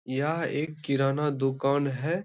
यह एक किराना दुकान है।